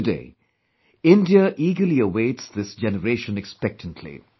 Today, India eagerly awaits this generation expectantly